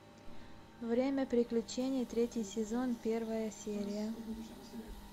время приключений третий сезон первая серия